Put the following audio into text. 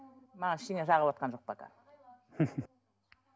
маған ештеңе жағыватқан жоқ пока